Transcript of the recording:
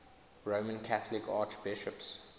roman catholic archbishops